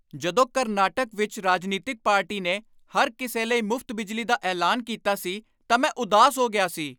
ਜਦੋਂ ਕਰਨਾਟਕ ਵਿੱਚ ਰਾਜਨੀਤਿਕ ਪਾਰਟੀ ਨੇ ਹਰ ਕਿਸੇ ਲਈ ਮੁਫ਼ਤ ਬਿਜਲੀ ਦਾ ਐਲਾਨ ਕੀਤਾ ਸੀ ਤਾਂ ਮੈਂ ਉਦਾਸ ਹੋ ਗਿਆ ਸੀ।